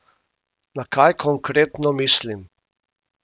Na kaj konkretno mislim?